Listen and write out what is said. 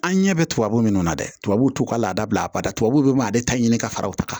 An ɲɛ bɛ tubabu minnu na dɛ tubabuw t'u ka laada bila a bada tubabuw bɛ b'ale ta ɲini ka fara u ta kan